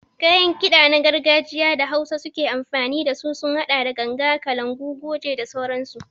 Kayan kiɗa na gargajiya da hausawa ke amfani dasu sun haɗa da ganga, kalangu, goje da sauransu.